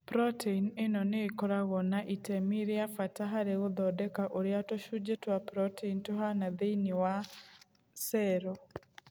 Protein ĩno nĩ ĩkoragwo na itemi rĩa bata harĩ gũthondeka ũrĩa tũcunjĩ twa proteini tũhaana thĩinĩ wa cero.